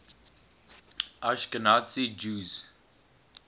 ashkenazi jews